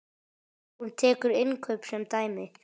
Hún tekur innkaup sem dæmi.